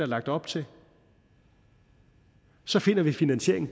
lagt op til så finder vi finansieringen